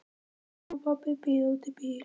Mamma og pabbi bíða úti í bíl.